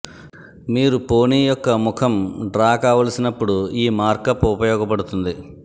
మీరు పోనీ యొక్క ముఖం డ్రా కావలసినప్పుడు ఈ మార్కప్ ఉపయోగపడుతుంది